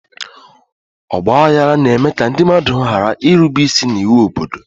Ọgba aghara na-eme ka ndị mmadụ ghara irube isi n'iwu obodo.